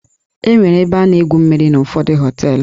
Enwere ebe a na-egwu mmiri n'ụfọdụ họteelụ.